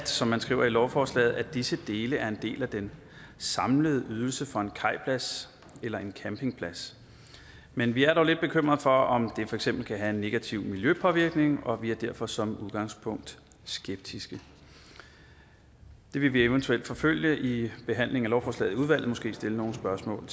som man skriver i lovforslaget at disse dele er en del af den samlede ydelse for en kajplads eller en campingplads men vi er dog lidt bekymrede for om det for eksempel kan have en negativ miljøpåvirkning og vi er derfor som udgangspunkt skeptiske det vil vi eventuelt forfølge i behandlingen af lovforslaget i udvalget og måske stille nogle spørgsmål